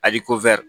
Ali ko